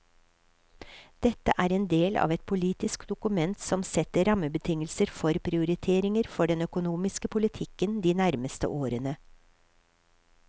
Dette er en del av et politisk dokument som setter rammebetingelser for prioriteringer for den økonomiske politikken de nærmeste årene.